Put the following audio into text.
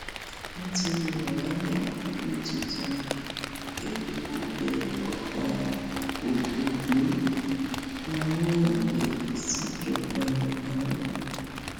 nítorí wàhálà owó tuntun epo bẹ ọba ògògbò rawọ ẹbẹ síjọba buhari